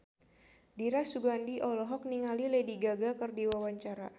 Dira Sugandi olohok ningali Lady Gaga keur diwawancara